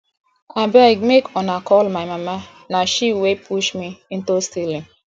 abeg make una call my mama na she wey push me into stealing